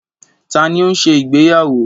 Ta ni ó ń ṣe ìgbéyàwó?